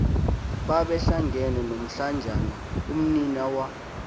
babehlangene nomlanjana umninawa